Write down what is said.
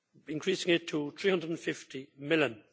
increasing it to EUR 350 million.